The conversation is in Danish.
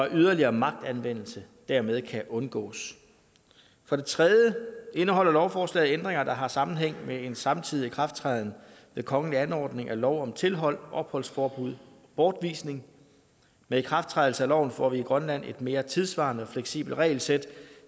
yderligere magtanvendelse dermed kan undgås for det tredje indeholder lovforslaget ændringer der har sammenhæng med en samtidig ikrafttræden ved kongelig anordning af lov om tilhold opholdsforbud bortvisning med ikrafttrædelse af loven får vi i grønland et mere tidssvarende fleksibelt regelsæt